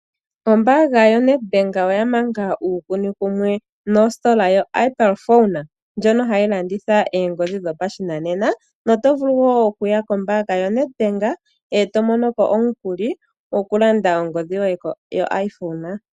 Ombaanga yoNedbank oya manga uukuni wumwe nositola yoApple phone, ndjono hayi landitha eengodhi dhopashinanena no to vulu wo okuya kombaanga yoNedbank to mono ko omukuli gwoku landa ongodhi yoye yo iPhone.